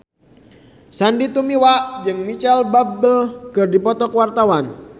Sandy Tumiwa jeung Micheal Bubble keur dipoto ku wartawan